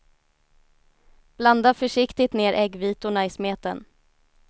Blanda försiktigt ner äggvitorna i smeten.